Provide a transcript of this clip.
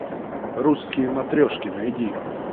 русские матрешки найди